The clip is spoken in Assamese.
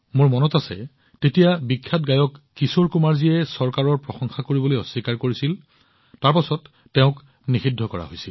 মোৰ মনত আছে তেতিয়া বিখ্যাত গায়ক কিশোৰ কুমাৰজীয়ে চৰকাৰৰ প্ৰশংসা কৰিবলৈ অস্বীকাৰ কৰিছিল সেয়েহে তেওঁক নিষিদ্ধ কৰা হৈছিল